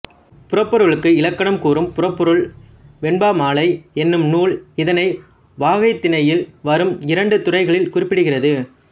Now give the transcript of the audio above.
புறப்பொருளுக்கு இலக்கணம் கூறும் புறப்பொருள் வெண்பாமாலை என்னும் நூலும் இதனை வாகைத்திணையில் வரும் இரண்டு துறைகளில் குறிப்பிடுகிறது